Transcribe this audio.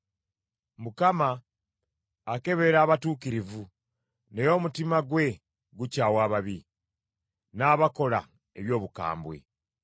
Mukama akebera abatuukirivu naye omutima gwe gukyawa ababi, n’abakola eby’obukambwe.